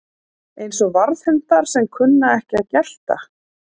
Eins og varðhundar sem kunna ekki að gelta